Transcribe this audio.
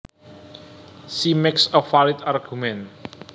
She makes a valid argument